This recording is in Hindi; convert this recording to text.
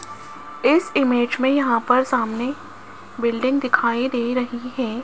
इस इमेज में यहां पर सामने बिल्डिंग दिखाई दे रही है।